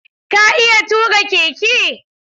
Ka iya tuƙa keke?